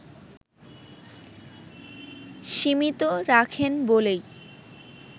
সীমিত রাখেন বলেই